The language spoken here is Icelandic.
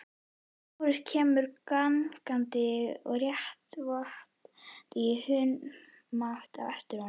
Lárus kemur gangandi og réttarvottar í humátt á eftir honum.